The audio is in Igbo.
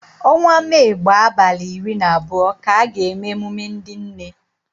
Onwa Mee gbaa abalị iri na abụọ ka a ga-eme emume ndị nne.